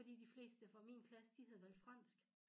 Fordi de fleste fra min klasse de havde valgt fransk